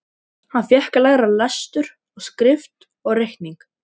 Hann fékk að læra lestur og skrift og reikning.